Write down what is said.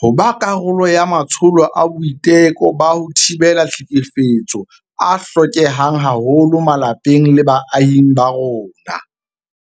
ho ba karolo ya matsholo a boiteko ba ho thibela tlhekefetso a hlokehang haholo malapeng le baahing ba rona.